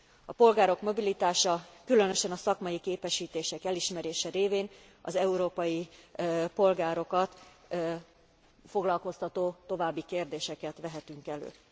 A polgárok mobilitása, különösen a szakmai képesítések elismerése révén, az európai polgárokat foglalkoztató további kérdéseket vehetünk